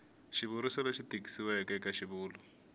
xivuriso lexi tikisiweke eka xivulwa